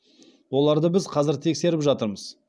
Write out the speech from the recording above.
оларды біз қазір тексеріп жатырмыз